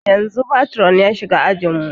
Yanzun patron ya shiga ajin mu